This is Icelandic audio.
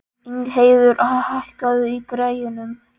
Ingheiður, hækkaðu í græjunum.